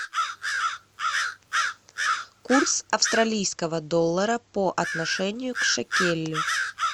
курс австралийского доллара по отношению к шекелю